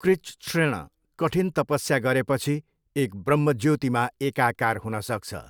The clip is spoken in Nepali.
कृच्छ्रेण कठिन तपस्या गरेपछि एक ब्रह्मज्योतिमा एकाकार हुनसक्छ।